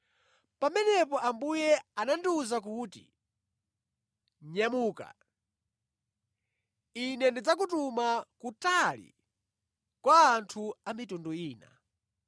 Pamenepo Ambuye anandiwuza kuti, “Nyamuka; Ine ndidzakutuma kutali kwa anthu a mitundu ina.”